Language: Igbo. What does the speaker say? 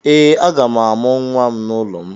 Ee, aga m amụ nwa m n’ụlọ m.